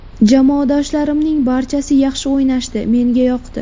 Jamoadoshlarimning barchasi yaxshi o‘ynashdi, menga yoqdi.